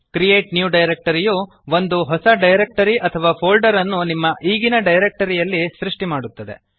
create new directory ಯು ಒಂದು ಹೊಸ ಡಿರೆಕ್ಟರಿ ಅಥವಾ ಫೋಲ್ಡರ್ ನ್ನು ನಿಮ್ಮ ಈಗಿನ ಡಿರೆಕ್ಟರಿ ಯಲ್ಲಿ ಸೃಷ್ಟಿ ಮಾಡುತ್ತದೆ